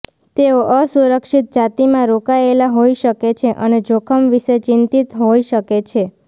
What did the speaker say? તેઓ અસુરક્ષિત જાતિમાં રોકાયેલા હોઈ શકે છે અને જોખમ વિશે ચિંતિત હોઈ શકે છે